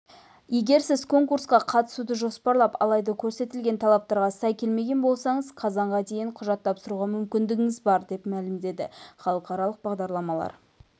егер сіз конкурсқа қатысуды жоспарлап алайда көрсетілген талаптарға сай келмеген болсаңыз қазанға дейін құжат тапсыруға мүмкіндігіңіз бар деп мәлімдеді халықаралық бағдарламалар